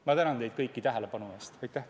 Ma tänan teid kõiki tähelepanu eest!